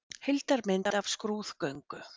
Heildarmynd af skrúðgöngu.